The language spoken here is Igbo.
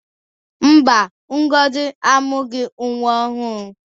Mba, Ngozi amụghị nwa ọhụrụ.